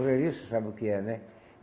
Olharia, você sabe o que é, né?